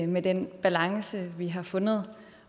med den balance vi har fundet